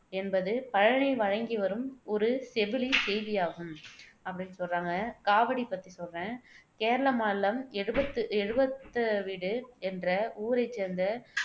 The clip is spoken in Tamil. என்பது பழனியில் வழங்கி வரும் ஒரு செவிழி செய்தியாகும் அப்படின்னு சொல்றாங்க காவடி பத்தி சொல்றேன் கேரள மாநிலம் எழுபத்து எழுபெத்தவீடு என்ற ஊரைச் சேர்ந்த